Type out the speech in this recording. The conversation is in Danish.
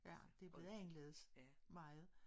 Ja det blevet anderledes. Meget